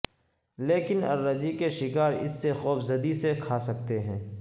لیکن الرجی کے شکار اس سے خوفزدگی سے کھا سکتے ہیں